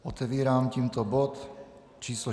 Otevírám tímto bod číslo